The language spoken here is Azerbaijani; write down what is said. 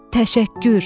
Təşəkkür.